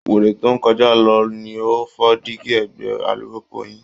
Wèrè tó ń kọjá lọ ni ó fọ́ díígí ẹ̀gbẹ́ alùpùpù yín